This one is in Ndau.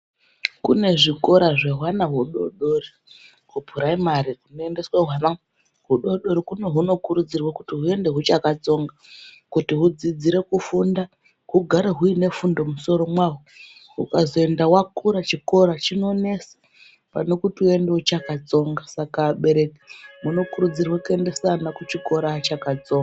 Kune zvikora zvehwana hudodori kuphuraimari kunoendeswa hwana hudodori kuno kunokurudzirwa kuti huende huchakatsonga kuti hudzidzire kufunda, hugare huine fundo mumusoro mwaho. Hukazoenda wakura chikora chinonesa pane kuti uende uchakatsonga .Saka abereki munokurudzirwe kuendesa ana kuchikora achakatsonga.